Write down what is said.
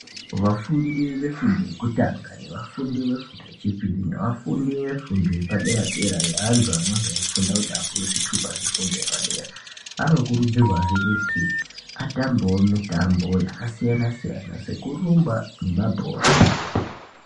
Vafundi vefundo yekutanga, nevafundi vefundo yechipiri, nevafundi vefundo yepadera dera yeantu anenge eifunda kuti apiwe zvitupa zvefundo yepadera, anokurudzirwazve kuti atambewo mitambo yasiyana siyana sekurumba nemabhora.